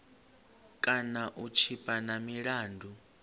kana u tshipa na milandu